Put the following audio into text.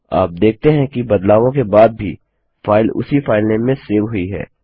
आप देखते हैं कि बदलावों के बाद भी फाइल उसी फाइलनेम से सेव हुई है